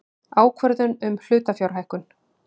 Ákvörðun um hlutafjárhækkun.